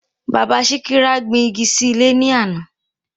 Bàbá Síkírá gbin igi sí ilé ní àná